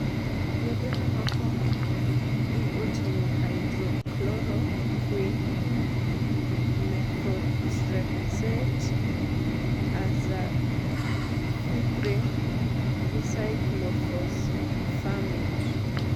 yedhe mamoko gi oting'o hydrochloroquin, methotrexate, azathiprine gi cyclophosphamide